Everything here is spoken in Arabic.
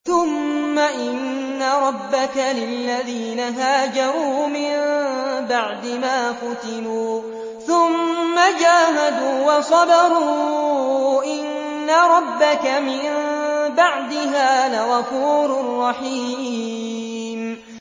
ثُمَّ إِنَّ رَبَّكَ لِلَّذِينَ هَاجَرُوا مِن بَعْدِ مَا فُتِنُوا ثُمَّ جَاهَدُوا وَصَبَرُوا إِنَّ رَبَّكَ مِن بَعْدِهَا لَغَفُورٌ رَّحِيمٌ